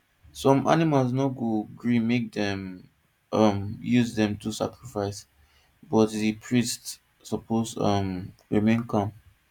some animals no go gree make dem um use them do sacrifice but the priests suppose um remain calm